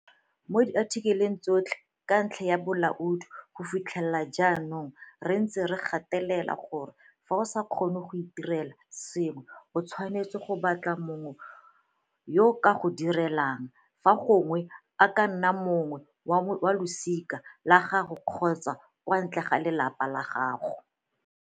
Mo diathikeleng tsotlhe ka ntlha ya bolaodi go fitlhela jaanong re ntse re gatelela gore fa o sa kgone go itirela sengwe o tshwanetse go batla mongwe yo a ka go se direlang, fa gongwe e ka nna mongwe wa losika la gago kgotsa kwa ntle ga lelapa la gago.